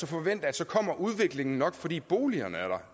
forvente at så kommer udviklingen nok fordi boligerne er der